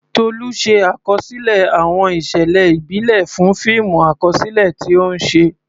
Tolu ṣe àkọsílẹ̀ àwọn ìṣẹ̀lẹ̀ ìbílẹ̀ fún fíìmù àkọsílẹ̀ tí ó ń ṣe.